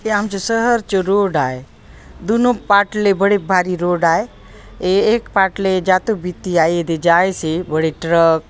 ये आमचे शहर चो रोड आए दूनों पाट ले बड़े भारी रोड आए ए एक पाट ले जातो बीती आ एदे जाएसे बड़े ट्रक --